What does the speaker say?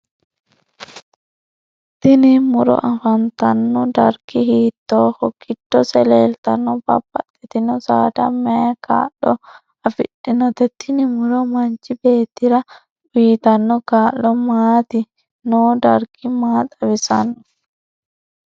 Tini muro afantano darggi hiitoho giddose leeltanno babbaxitino saada mayii kaa'lo afidhinote tini muro manchi beetir uyiitano kaa'lo maati noo darggi maa xawisanno